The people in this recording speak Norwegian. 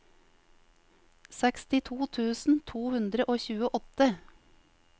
sekstito tusen to hundre og tjueåtte